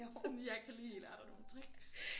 Sådan jeg kan lige lære dig nogle tricks